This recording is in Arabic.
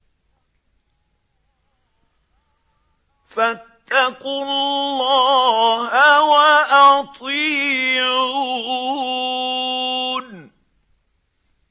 فَاتَّقُوا اللَّهَ وَأَطِيعُونِ